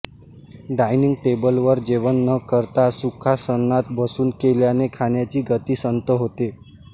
dining टेबलवर जेवण न करता सुखासनात बसून केल्याने खाण्याची गती संथ होते